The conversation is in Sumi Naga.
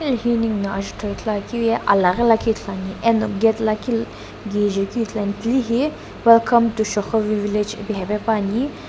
ithehi ninguno ajutho ithuluakeu ye alaghi lakhi ithuluani eno gate lakhi kije keu ithulani tilehi welcome to shokhuvi village ipi hepepuani --